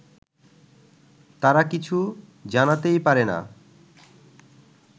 তারা কিছু জানাতেই পারে না